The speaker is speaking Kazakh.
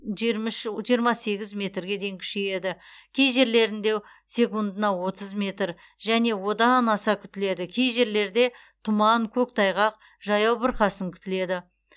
жиырма үш жиырма сегіз метрге дейін күшейеді кей жерлерінде секундына отыз метр және одан аса күтіледі кей жерлерде тұман көктайғақ жаяу бұрқасын күтіледі